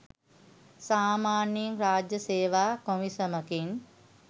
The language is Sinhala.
සාමාන්‍යයෙන් රාජ්‍ය සේවා කොමිෂමකින්